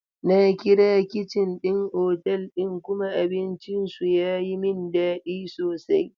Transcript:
Na kira kicin ɗin otal ɗin kuma abinci su ya yi min daɗi sosai.